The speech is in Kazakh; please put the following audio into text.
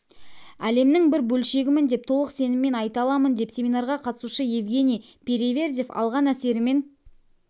әлемінің бір бөлшегімін деп толық сеніммен айта аламын деп семинарға қатысушы евгений переверзев алған әсерімен